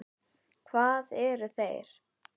Hvað eru þeir?